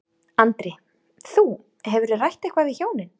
Andri: Þú, hefurðu rætt eitthvað við hjónin?